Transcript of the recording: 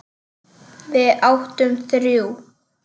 Við áttum þrjú.